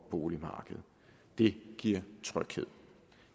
boligmarkedet det giver tryghed